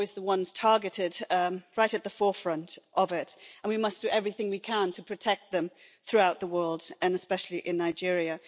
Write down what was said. They're always the ones targeted right at the forefront of it and we must do everything we can to protect them throughout the world and especially in Nigeria.